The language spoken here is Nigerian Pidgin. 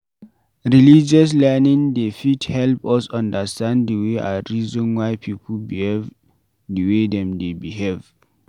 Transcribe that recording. Religious learning dey fit help us understand di way and reason why pipo behave di way dem dey behave